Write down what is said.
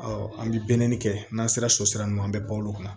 an bɛ kɛ n'an sera so sira ninnu an bɛ balo olu kan